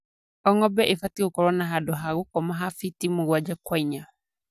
O ng'ombe ibatie gukorwo na handũ ha gũkoma ha fiti mũgwanja kwa inya